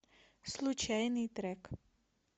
случайный трек